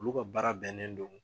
Olu ka baara bɛnnen don.